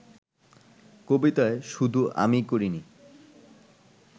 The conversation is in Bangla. কবিতায় শুধু আমিই করিনি